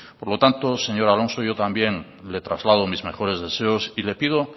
por lo tanto señor alonso yo también le traslado mis mejores deseos y le pido